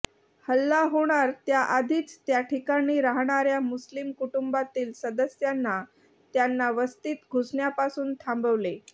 हल्ला होणार त्याआधीच त्याठिकाणी राहणाऱ्या मुस्लिम कुटुंबातील सदस्यांना त्यांना वस्तीत घुसण्यापासून थांबवले